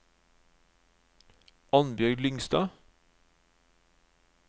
Annbjørg Lyngstad